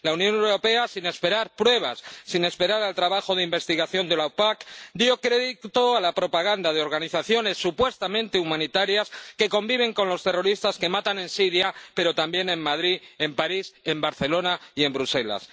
La Unión Europea —sin esperar pruebas, sin esperar al trabajo de investigación de la OPAQ— dio crédito a la propaganda de organizaciones supuestamente humanitarias que conviven con los terroristas que matan en Siria, pero también en Madrid, en París, en Barcelona y en Bruselas.